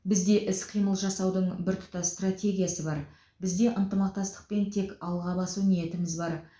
бізде іс қимыл жасаудың біртұтас стратегиясы бар бізде ынтымақтастық пен тек алға басу ниетіміз бар